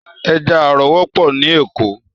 Èjà àrò wòpò ni Ékó